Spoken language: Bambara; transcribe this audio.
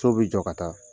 So bɛ jɔ ka taa